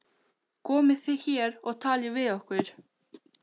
Komið þið hér og talið við okkur.